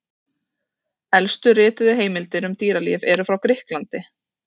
Elstu rituðu heimildir um dýralíf eru frá Grikklandi.